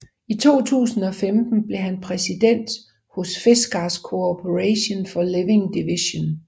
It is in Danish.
I 2015 blev han præsident hos Fiskars Corporation for Living Divisionen